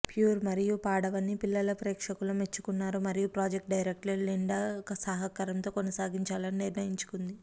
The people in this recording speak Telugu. ప్యూర్ మరియు పాడవని పిల్లల ప్రేక్షకుల మెచ్చుకున్నారు మరియు ప్రాజెక్టు డైరెక్టర్లు లిండా సహకారంతో కొనసాగించాలని నిర్ణయించుకుంది